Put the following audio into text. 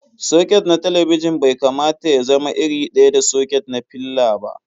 Soket na talabijin bai kamata y azama iri ɗaya da soket na filla ba.